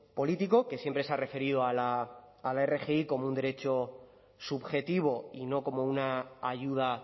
político que siempre se ha referido a la rgi como un derecho subjetivo y no como una ayuda